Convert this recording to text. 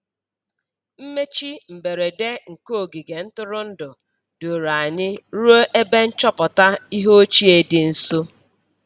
Mmechi mberede nke ogige ntụrụndụ duru anyị ruo ebe nchọpụta ihe ochie dị nso.